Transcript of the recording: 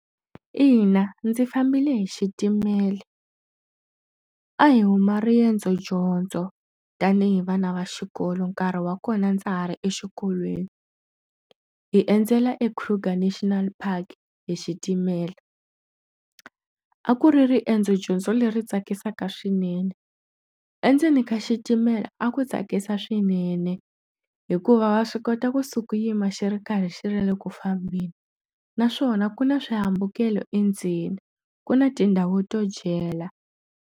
Ina ndzi fambile hi xitimela. A hi huma riendzodyondzo tanihi vana va xikolo nkarhi wa kona ndza ha ri exikolweni. Hi endzela eKruger National Park hi xitimela. A ku ri riendzodyondzo leri tsakisaka swinene. Endzeni ka xitimela a ku tsakisa swinene, hikuva wa swi kota kusuka u yima xi ri karhi xi ri eku fambeni naswona ku na swihambukelo endzeni, ku na tindhawu to dyela.